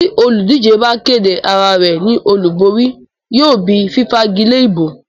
tí olùdíje bá kéde arárẹ̀ ní olúborí, yóò bí fífagilé ìbò.